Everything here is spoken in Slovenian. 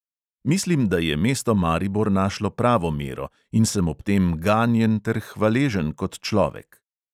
Mislim, da je mesto maribor našlo pravo mero, in sem ob tem ganjen ter hvaležen kot človek.